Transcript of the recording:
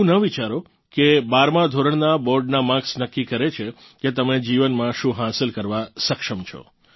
એવું ન વિચારો કે 12મા ધોરણનાં બોર્ડનાં માર્કસ નક્કી કરે છે કે તમે જીવનમાં શું હાંસલ કરવા સક્ષમ છો